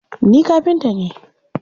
Ni kafinta ne.